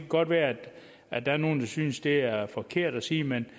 godt være at der er nogle der synes at det er forkert at sige men